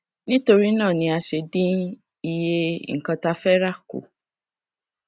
nítorí náà ni a ṣe dín iye nnkan tá fẹ rà kù